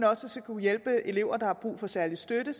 også skal kunne hjælpe elever der har brug for særlig støtte